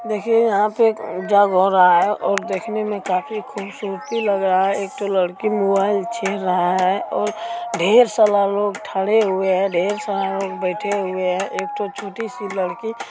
देखिए यहां पर जग हो रहा है और देखने में काफी खूबसूरती लग रहा है एकठो लड़की मोबाइल छीन रहा है और ढेर सारा लोग ठड़े हुए है ढेर सारे लोग बैठे हुए है एकठो छोटी सी लड़की --